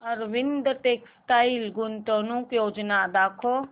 Arvind textile गुंतवणूक योजना दाखव